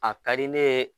A ka di ne ye